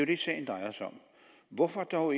det sagen drejer sig om hvorfor dog